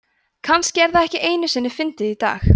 kannski er það ekki einu sinni fyndið í dag